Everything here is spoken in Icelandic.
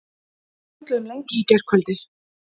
Við spjölluðum lengi í gærkvöldi.